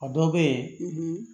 A dɔw bɛ yen